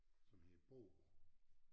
Som hedder Bogh